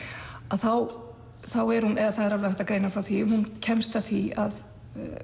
þá er hún eða það er alveg hægt að greina frá því að hún kemst að því að